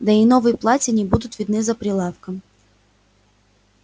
да и новые платья не будут видны за прилавком